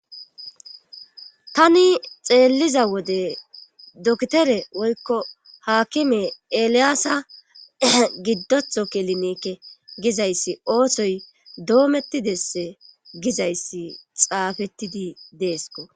Tani xeelliza wode dokitere woykko haakime eliyaasa giddotho kelineekke gizayssi oosoy doomettidesse gizayssi xaafettidi deesko.